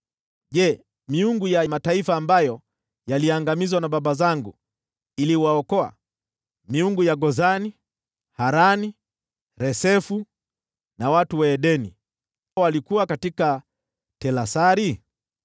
Je, miungu ya mataifa ambayo yaliangamizwa na baba zangu iliweza kuwaokoa? Yaani miungu ya Gozani, Harani, Resefu, na ya watu wa Edeni waliokuwa Telasari?